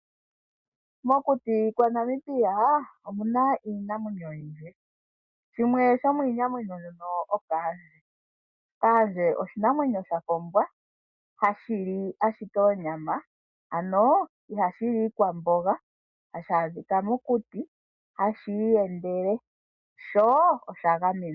Mokuti kwa Namibia omuna iinamwenyo oyindji. Shimwe sho miinamwenyo mbyono okaandje, kaandje oshinamwenyo shafa ombwa ha shili oonyama, ano iha shili iikwamboga, ha sha dhiika mokuti hashii yendele sho osha gamenwa.